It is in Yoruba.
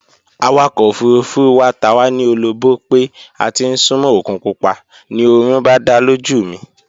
Awakọ̀ ofurufú wa ta wá ní ologbó pé a ti ń súnmó òkun pupa, ni oorun bá dá lójú mi